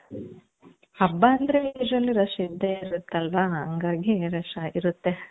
ಹಬ್ಬ ಅಂದ್ರೆ usually rush ಇದ್ದೇ ಇರುತ್ತೆ ಅಲ್ವ ಹಾಗಾಗಿ rush ಆಗಿರುತ್ತೆ .